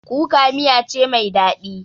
Kuka miya ce mai daɗi